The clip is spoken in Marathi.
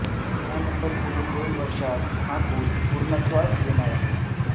त्यानंतर पुढील दोन वर्षांत हा पूल पूर्णत्वास येणार आहे